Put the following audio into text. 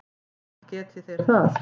Geti þeir það?